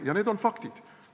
Ja need on faktid.